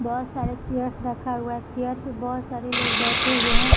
बहुत सारे चयर्स रखा हुआ है चेयर पे बहुत सारे लोग बैठे हुए है।